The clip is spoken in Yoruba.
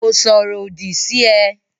Kò sọ̀rọ̀ òdì sí ẹ.